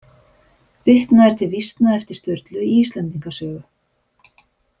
Vitnað er til vísna eftir Sturlu í Íslendinga sögu.